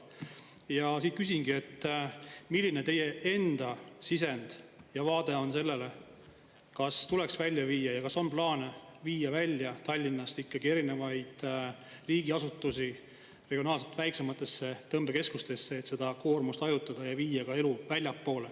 Ja küsingi, et milline on teie enda sisend ja vaade sellele, kas tuleks välja viia ja kas on plaan viia välja Tallinnast ikkagi erinevaid riigiasutusi regionaalselt väiksematesse tõmbekeskustesse, et seda koormust hajutada ja viia ka elu väljapoole.